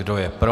Kdo je pro?